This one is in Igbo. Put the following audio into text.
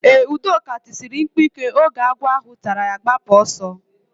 Udoka tisiri mkpu ike oge agwọ ahụ tara ya gbapụ oso